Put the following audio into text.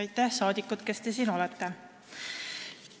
Aitäh, saadikud, kes te siin olete!